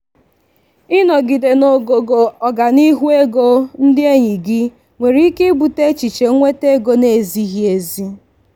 ịnọgide n'ogogo ọganihu ego ndị enyi gị nwere ike ibute echiche nwete ego na-ezighị ezi.